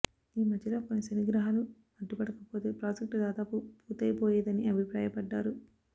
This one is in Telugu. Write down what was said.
ఈ మధ్యలో కొన్ని శనిగ్రహాలు అడ్డుపడకపోతే ప్రాజెక్టు దాదాపు పూర్తయిపోయేదని అభిప్రాయపడ్డారు